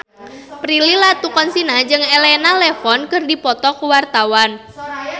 Prilly Latuconsina jeung Elena Levon keur dipoto ku wartawan